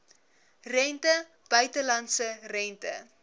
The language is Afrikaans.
rente buitelandse rente